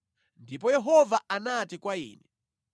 Ndipo Yehova anati kwa ine,